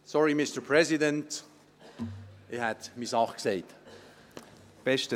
Sorry, Mr. President – ich hätte meine Sache gesagt. .